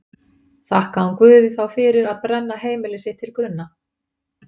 Þakkaði hún Guði þá fyrir að brenna heimili sitt til grunna?